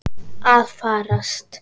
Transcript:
Að farast?